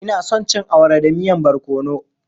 Ina son cin awara da miyan barkono.